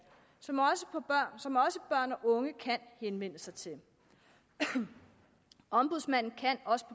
som og unge kan henvende sig til ombudsmanden kan også